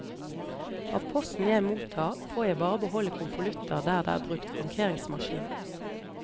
Av posten jeg mottar får jeg bare beholde konvolutter der det er brukt frankeringsmaskin.